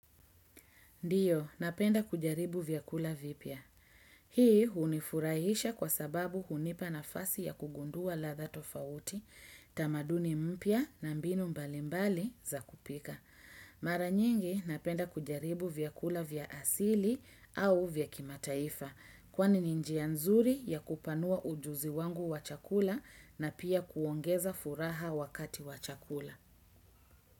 Ndiyo, napenda kujaribu vyakula vipya. Hii hunifurahisha kwa sababu hunipa nafasi ya kugundua ladha tofauti, tamaduni mpya na mbinu mbalimbali za kupika. Mara nyingi, napenda kujaribu vyakula vya asili au vya kimataifa. Kwani ni njia nzuri ya kupanua ujuzi wangu wachakula na pia kuongeza furaha wakati wa chakula.